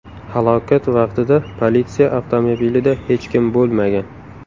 Halokat vaqtida politsiya avtomobilida hech kim bo‘lmagan.